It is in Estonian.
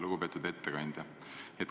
Lugupeetud ettekandja!